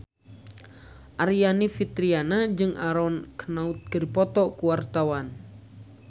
Aryani Fitriana jeung Aaron Kwok keur dipoto ku wartawan